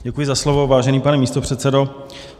Děkuji za slovo, vážený pane místopředsedo.